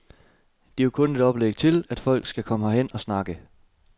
Det er jo kun et oplæg til, at folk skal komme herhen og snakke.